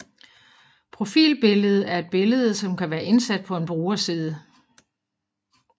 Profilbillede er et billede som kan være indsat på en brugerside